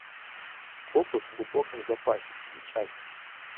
копы в глубоком запасе включай